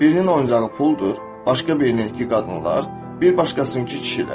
Birinin oyuncağı puldur, başqa birininkı qadınlar, bir başqasınkı kişilər.